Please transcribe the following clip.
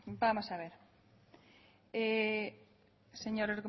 vamos a ver señor